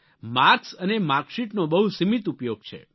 marks અને માર્કશીટનો બહુ સીમિત ઉપયોગ છે